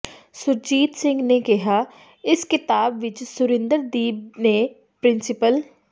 ਸੁਰਜੀਤ ਸਿੰਘ ਨੇ ਕਿਹਾ ਇਸ ਕਿਤਾਬ ਵਿੱਚ ਸੁਰਿੰਦਰ ਦੀਪ ਨੇ ਪਿ੍ਰੰ